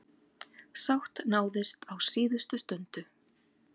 Sátt náðist á síðustu stundu.